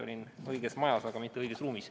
Olin õiges majas, aga mitte õiges ruumis.